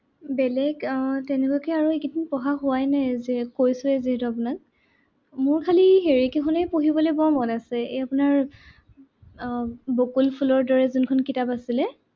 বেলেগ আহ তেনেকুৱাকে আৰু এইকেইদিন পঢ়া হোৱাই নাই যে কৈছোৱেই যিহেতু আপোনাক। মোৰ খালী হেৰি কেইখনহে পঢ়িবলে বৰ মন আছে। এৰ আপোনাৰ আহ বকুল ফুলৰ দৰে যোনখন কিতাপ আছিলে।